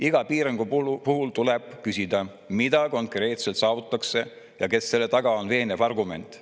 Iga piirangu puhul tuleb küsida, mida konkreetselt saavutatakse ja kas selle taga on veenev argument.